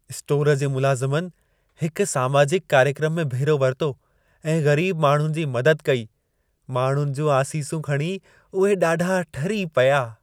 स्टोरु जे मुलाज़मनि हिक सामाजिक कार्यक्रम में भेरो वरितो ऐं ग़रीब माण्हुनि जी मदद कई। माण्हुनि जूं आसीसूं खणी उहे ॾाढा ठरी पिया।